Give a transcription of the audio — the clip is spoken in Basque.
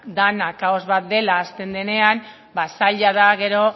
dena kaos bat dela esaten hasten denean ba zaila da gero